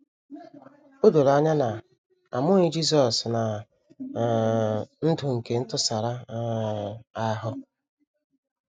O doro anya na a mụghị Jisọs ná um ndụ nke ntụsara um ahụ.